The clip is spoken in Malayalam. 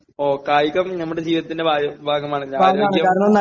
ഓ..കായികം നമ്മുടെ ജീവിതത്തിന്റെ ഭാഗമാണല്ലോ..ആരോഗ്യം..